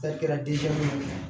Ta kɛra